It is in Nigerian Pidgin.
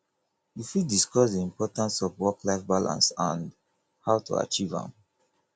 you fit discuss di importance of worklife balance and how to achieve am